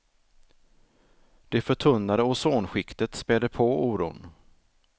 Det förtunnade ozonskiktet späder på oron.